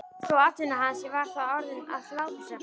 Svo að atvinna hans var þá orðin aðhlátursefni.